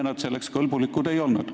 Enne ta selleks kõlblik ei olnud.